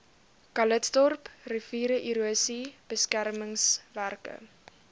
calitzdorp riviererosie beskermingswerke